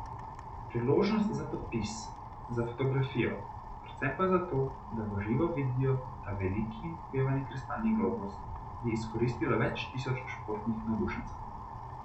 Priložnost za podpis, za fotografijo, predvsem pa za to, da v živo vidijo ta veliki in opevani kristalni globus, je izkoristilo več tisoč športnih navdušencev.